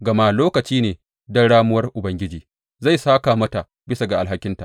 Gama lokaci ne don ramuwar Ubangiji, zai sāka mata bisa ga alhakinta.